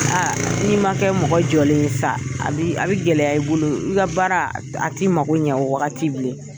n'i ma kɛ mɔgɔ jɔlen ye sa a bɛ gɛlɛya i bolo i ka baara a ti mako ɲɛ o wakati bilen